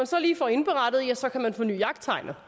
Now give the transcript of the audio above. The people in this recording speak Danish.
så lige får indberettet ja så kan man forny jagttegnet